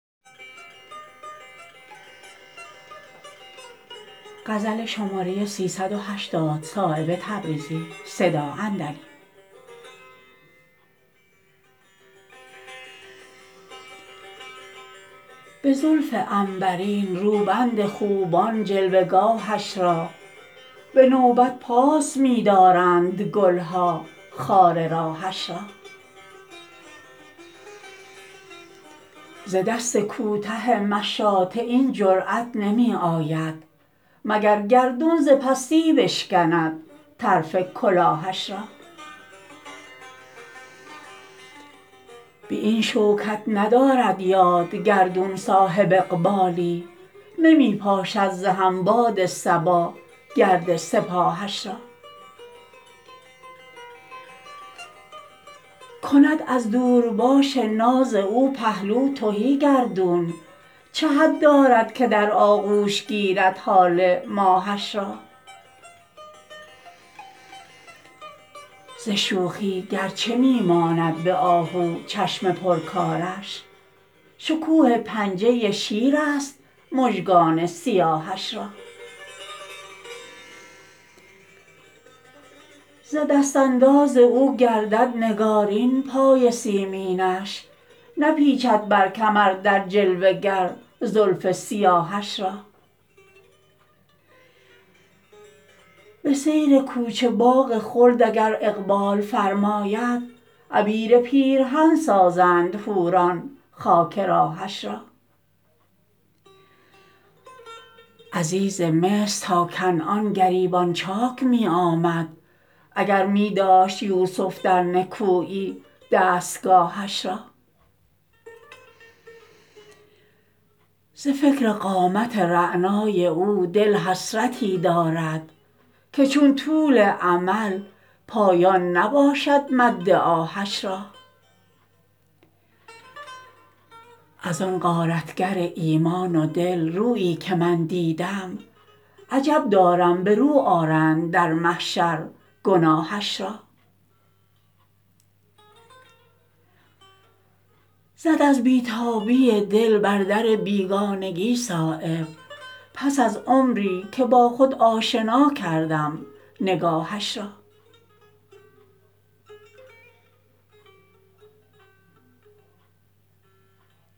به زلف عنبرین روبند خوبان جلوه گاهش را به نوبت پاس می دارند گلها خار راهش را ز دست کوته مشاطه این جرأت نمی آید مگر گردون ز پستی بشکند طرف کلاهش را به این شوکت ندارد یاد گردون صاحب اقبالی نمی پاشد ز هم باد صبا گرد سپاهش را کند از دورباش ناز او پهلو تهی گردون چه حد دارد که در آغوش گیرد هاله ماهش را ز شوخی گرچه می ماند به آهو چشم پر کارش شکوه پنجه شیرست مژگان سیاهش را ز دست انداز او گردد نگارین پای سیمینش نپیچد بر کمر در جلوه گر زلف سیاهش را به سیر کوچه باغ خلد اگر اقبال فرماید عبیر پیرهن سازند حوران خاک راهش را عزیز مصر تا کنعان گریبان چاک می آمد اگر می داشت یوسف در نکویی دستگاهش را ز فکر قامت رعنای او دل حسرتی دارد که چون طول امل پایان نباشد مد آهش را ازان غارتگر ایمان و دل رویی که من دیدم عجب دارم به رو آرند در محشر گناهش را زد از بی تابی دل بر در بیگانگی صایب پس از عمری که با خود آشنا کردم نگاهش را